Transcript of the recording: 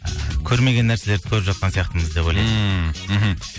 і көрмеген нәрселерді көріп жатқан сияқтымыз деп ойлаймын ммм мхм